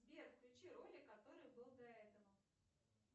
сбер включи ролик который был до этого